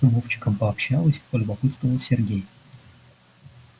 с вовчиком пообщалась полюбопытствовал сергей